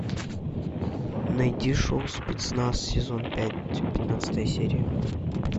найди шоу спецназ сезон пять пятнадцатая серия